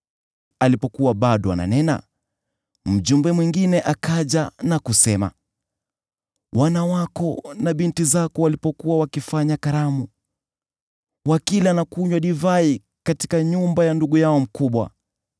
Alipokuwa bado ananena, mjumbe mwingine akaja na kusema, “Wana wako na binti zako walipokuwa wakifanya karamu, wakila na kunywa divai katika nyumba ya ndugu yao mkubwa,